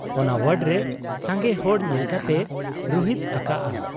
ᱚᱱᱟ ᱣᱟᱰᱨᱮ ᱥᱟᱸᱜᱮ ᱦᱚᱲ ᱧᱮᱞ ᱠᱟᱛᱮᱭ ᱨᱩᱦᱮᱫ ᱟᱠᱟᱜ ᱟ ᱾